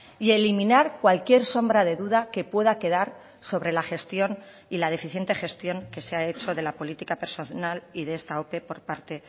y eliminar cualquier sombra de duda que pueda quedar sobre la gestión y la deficiente gestión que se ha hecho de la política personal y de esta ope por parte